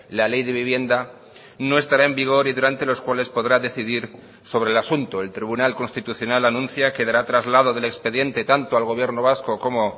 la ley de vivienda no estará en vigor y durante los cuales podrá decidir sobre el asunto el tribunal constitucional anuncia que dará traslado del expediente tanto al gobierno vasco como